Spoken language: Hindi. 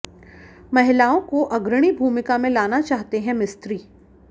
महिलाओं को अग्रणी भूमिका में लाना चाहते हैं मिस्त्री